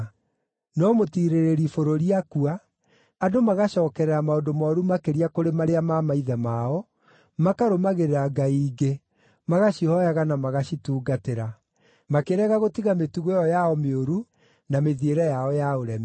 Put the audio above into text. No mũtiirĩrĩri bũrũri akua, andũ magacookerera maũndũ mooru makĩria kũrĩ marĩa ma maithe mao, makarũmagĩrĩra ngai ingĩ, magacihooyaga na magacitungatĩra. Makĩrega gũtiga mĩtugo ĩyo yao mĩũru na mĩthiĩre yao ya ũremi.